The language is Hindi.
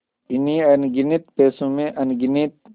इन्हीं अनगिनती पैसों में अनगिनती